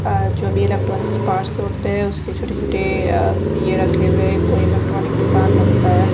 आ जो भी electronic parts होते हैं उसके छोटे-छोटे आ ये रखे हुए कोई इलेक्ट्रॉनिक दुकान लगता है।